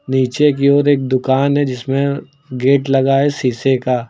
नीचे की ओर एक दुकान है जिसमें गेट लगा है शीशे का।